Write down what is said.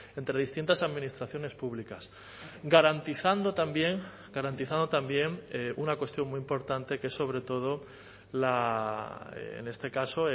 entre distintas administraciones públicas garantizando también garantizando también una cuestión muy importante que es sobre todo la en este caso